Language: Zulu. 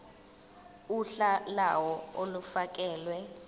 uhla lawo olufakelwe